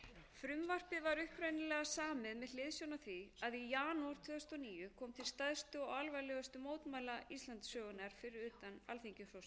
af því að í janúar tvö þúsund og níu kom til stærstu og alvarlegustu mótmæla íslandssögunnar fyrir utan